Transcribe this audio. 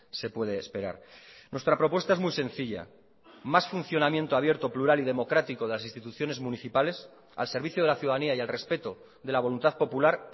se puede esperar nuestra propuesta es muy sencilla más funcionamiento abierto plural y democrático de las instituciones municipales al servicio de la ciudadanía y al respeto de la voluntad popular